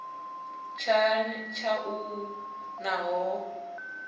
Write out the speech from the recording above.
tshanḓa tsha u ḽa nahone